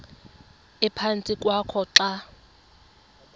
ephantsi kwakho xa